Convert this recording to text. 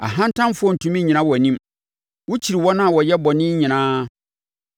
Ahantanfoɔ rentumi nnyina wʼanim; wokyiri wɔn a wɔyɛ bɔne nyinaa.